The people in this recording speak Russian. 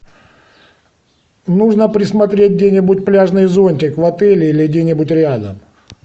нужно присмотреть где нибудь пляжный зонтик в отеле или где нибудь рядом